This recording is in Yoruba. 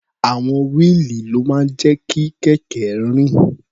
Àwọn wíìlì ló máa ń jẹ́ kí kẹ̀kẹ́ rìn.